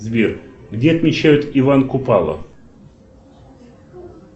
сбер где отмечают иван купала